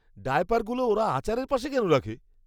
ডায়াপারগুলো ওরা আচারের পাশে কেন রাখে?